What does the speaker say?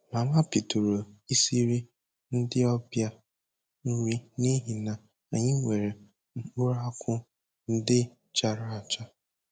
Mama bidoro isiri ndị ọbịa nri n'ihi na anyị nwere mkpụrụakwụ ndị charala acha